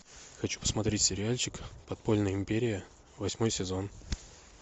хочу посмотреть сериальчик подпольная империя восьмой сезон